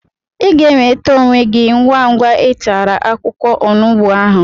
Ị ga-enweta onwe gị ngwa ngwa ị tara akwụkwọ onugbu ahụ